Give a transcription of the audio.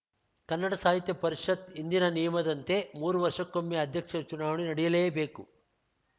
ಕನ್ನಡ ಸಾಹಿತ್ಯ ಪರಿಷತ್ ಹಿಂದಿನ ನಿಯಮದಂತೆ ಮೂರು ವರ್ಷಕ್ಕೊಮ್ಮೆ ಅಧ್ಯಕ್ಷರ ಚುನಾವಣೆ ನಡೆಯಲೇಬೇಕು